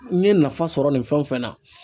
N ye nafa sɔrɔ nin fɛn o fɛn na